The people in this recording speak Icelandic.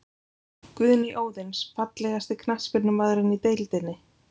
Guðný Óðins Fallegasti knattspyrnumaðurinn í deildinni?